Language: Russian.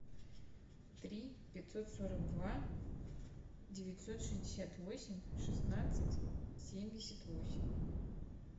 три пятьсот сорок два девятьсот шестьдесят восемь шестнадцать семьдесят восемь